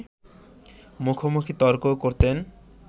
মুখোমুখি তর্কও করতেন